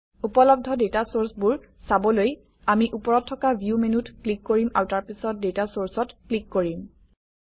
উপলব্ধ ডাটা চৰ্চবোৰ চাবলৈ আমি ওপৰত থকা ভিউ মেনুত ক্লিক কৰিম আৰু তাৰপিছত ডাটা চৰ্চত ক্লিক কৰিম